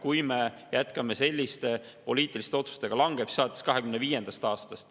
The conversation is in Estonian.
Kui me jätkame selliste poliitiliste otsuste, langeb see alates 2025. aastast.